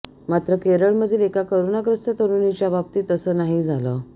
मात्र केरळमधील एका कोरोनाग्रस्त तरुणीच्या बाबतीत तसं नाही झालं